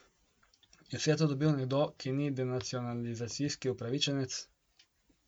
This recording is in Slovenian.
Je vse to dobil nekdo, ki ni denacionalizacijski upravičenec?